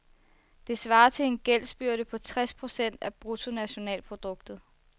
Det svarer til en gældsbyrde på tres procent af bruttonationalproduktet.